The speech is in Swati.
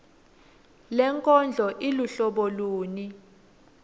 lenkondlo iluhlobo luni